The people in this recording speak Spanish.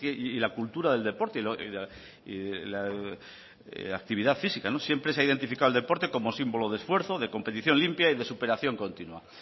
y la cultura del deporte y la actividad física siempre se ha identificado el deporte cómo símbolo de esfuerzo de competición limpia y de superación continúa